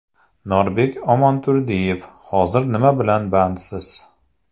NORBEK Omonturdiyev Hozir nima bilan bandsiz?